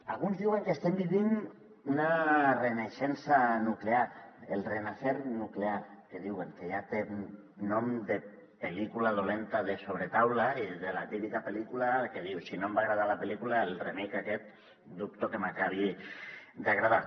alguns diuen que estem vivint una renaixença nuclear el renacer nuclear que en diuen que ja té nom de pel·lícula dolenta de sobretaula i de la típica pel·lícula que dius si no em va agradar la pel·lícula el remake aquest dubto que m’acabi d’agradar